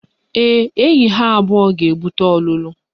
Ee, enyi ha abụọ ga-ebute ọlụlụ